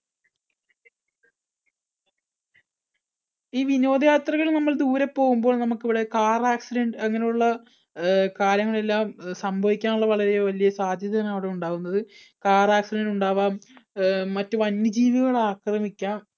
ഈ വിനോദയാത്രയിൽ നമ്മൾ ദൂരെ പോകുമ്പോൾ നമുക്കിവിടെ car accident അങ്ങനെയുള്ള കാര്യങ്ങളെല്ലാം സംഭവിക്കാനുള്ള വളരെ വലിയ ഒരു സാധ്യതയാണ് അവിടെ ഉണ്ടാവുന്നത്. car accident ഉണ്ടാവാം മറ്റു വന്യജീവികള്‍ ആക്രമിക്കാം